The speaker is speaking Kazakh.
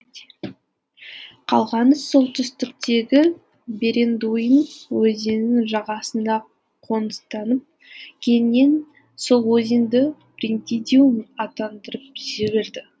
қалғаны солтүстіктегі берендуин өзенінің жағасында қоныстанып кейіннен сол өзенді пентидуим атандырып жіберді